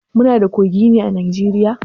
Muna da kogi ne a Najeriya?